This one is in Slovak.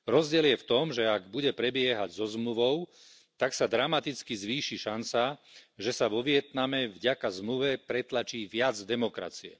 Rozdiel je v tom, že ak bude prebiehať so zmluvou, tak sa dramaticky zvýši šanca, že sa vo Vietname vďaka zmluve pretlačí viac demokracie.